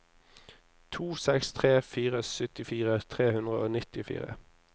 to seks tre fire syttifire tre hundre og nittifire